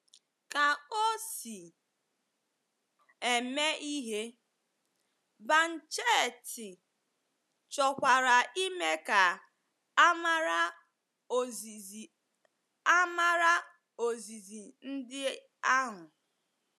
Ka o si eme ihe, Banchetti chọkwara ime ka a mara ozizi a mara ozizi ndị ahụ.